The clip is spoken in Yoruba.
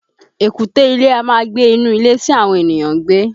Èkúté ilé a máa gbé inú ilé tí àwọn ènìyàn ń gbé